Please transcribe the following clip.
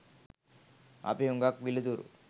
අපි හුඟක් පිළිතුරු